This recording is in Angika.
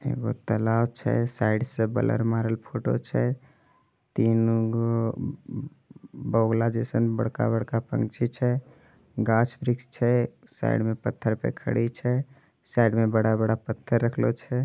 एगो तलाव छै। साइड से बलर मारल फोटो छै। तीन गो अ बगुला जैसन बड़का-बड़का पंछी छै। घांसघास-वृक्ष छै साइड में पत्थर पे खड़ी छै। साइड में बड़ा-बड़ा पत्थर रखलो छै।